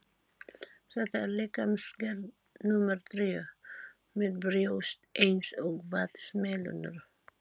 Þetta er líkamsgerð númer þrjú, með brjóst eins og vatnsmelónur.